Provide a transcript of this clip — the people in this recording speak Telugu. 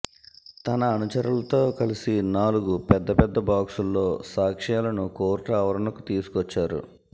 తన అనుచరులతో కలిసి నాలుగు పెద్ద పెద్ద బాక్సుల్లో సాక్ష్యాలను కోర్టు ఆవరణకు తీసుకొచ్చారు